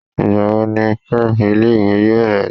Ìgbà wo ni prep ilé ìwé yóò bẹ̀rẹ̀?